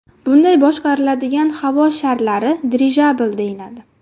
Bunday boshqariladigan havo sharlari dirijabl deyiladi.